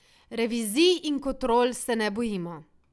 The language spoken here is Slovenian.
Revizij in kontrol se ne bojimo.